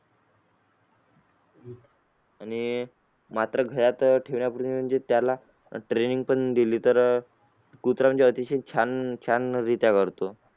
आणि मात्र घरात ठेवण्यापूर्वी म्हणजे त्याला training पण दिली तर अं कुत्र म्हणजे अतिशय छान छान